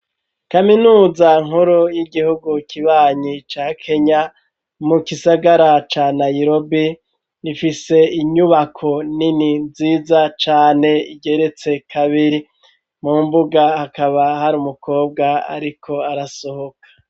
Kaminuza nkuru y'igihugu kibanyi ca Kenya mu gisagara ca Nairobi rifise inyubako nini nziza cane igeretse kabiri mu mbuga hakaba hari umukobwa ariko arasohoka